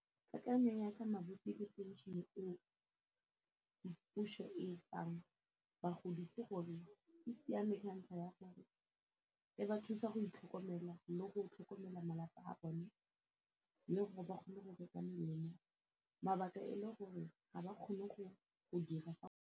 Mabupi le phenšene eo puso e fang bagodi ke gore e siame ka ntlha ya gore e ba thusa go itlhokomela le go tlhokomela malapa a bone le gore ba kgone go reka melemo mabaka e le gore ga ba kgone go dira.